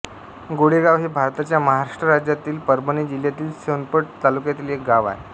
गोळेगाव हे भारताच्या महाराष्ट्र राज्यातील परभणी जिल्ह्यातील सोनपेठ तालुक्यातील एक गाव आहे